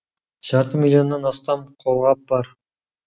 жарты миллионнан астам қолғап бар